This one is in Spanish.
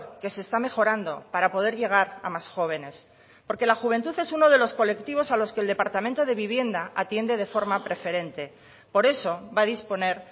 que se está mejorando para poder llegar a más jóvenes porque la juventud es uno de los colectivos a los que el departamento de vivienda atiende de forma preferente por eso va a disponer